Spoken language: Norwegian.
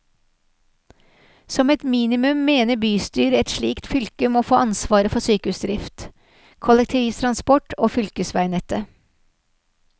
Som et minimum mener bystyret et slikt fylke må få ansvaret for sykehusdrift, kollektivtransport og fylkesveinettet.